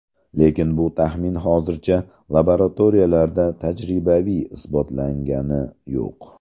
Lekin bu taxmin hozircha laboratoriyalarda tajribaviy isbotlangani yo‘q.